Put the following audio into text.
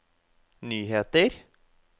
nyheter